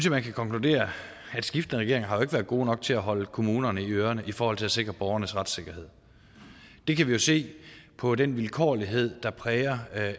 at man kan konkludere at skiftende regeringer har været gode nok til at holde kommunerne i ørerne i forhold til at sikre borgernes retssikkerhed det kan vi jo se på den vilkårlighed der præger